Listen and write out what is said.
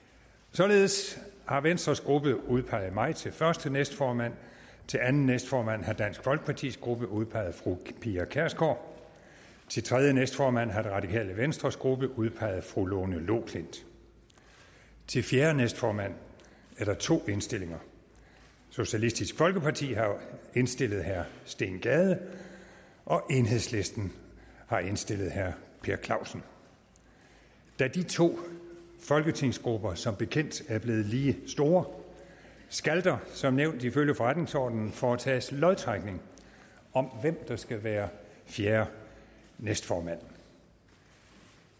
således har venstres gruppe udpeget mig til første næstformand til anden næstformand har dansk folkepartis gruppe udpeget fru pia kjærsgaard til tredje næstformand har det radikale venstres gruppe udpeget fru lone loklindt til fjerde næstformand er der to indstillinger socialistisk folkeparti har indstillet herre steen gade og enhedslisten har indstillet herre per clausen da de to folketingsgrupper som bekendt er blevet lige store skal der som nævnt ifølge forretningsordenen foretages lodtrækning om hvem der skal være fjerde næstformand